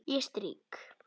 Ég strýk.